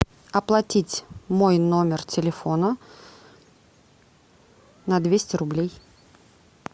оплатить мой номер телефона на двести рублей